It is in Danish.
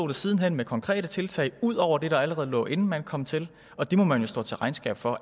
det siden hen med konkrete tiltag ud over det der allerede lå der inden man kom til og det må man jo stå til regnskab for